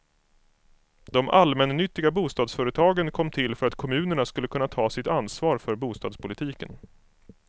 De allmännyttiga bostadsföretagen kom till för att kommunerna skulle kunna ta sitt ansvar för bostadspolitiken.